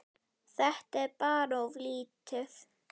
Þetta er bara of lítið.